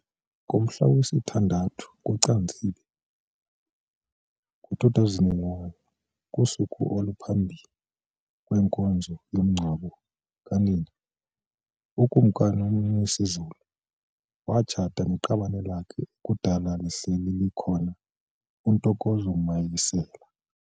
Ngomhla wesithandathu kuCanzibe ngo2021, kusuku oluphambi kwenkonzo yomngcwabo kanina, uKumkani uMisuzulu watshata neqabane lakhe ekudala lihleli likhona uNtokozo Mayisela.